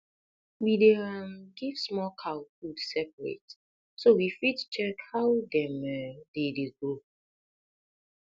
we dey um give small cow food separate so we fit check how dem um dey dey grow